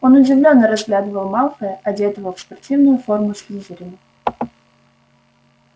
он удивлённо разглядывал малфоя одетого в спортивную форму слизерина